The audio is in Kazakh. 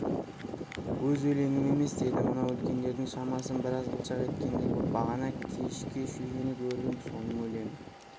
өз өлеңім емес деді мынау үлкендердің шамасын біраз қылжақ еткендей боп бағана кешке шөжені көріп ем соның өлеңі